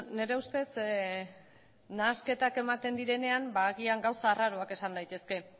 nire ustez nahasketak ematen direnean agian gauza arraroak esan daitezke